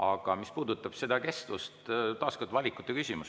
Aga mis puudutab kestust, siis see on taas valikute küsimus.